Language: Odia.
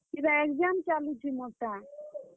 ଇଟା exam ଚାଲୁଛେ ମୋର୍ ଟା।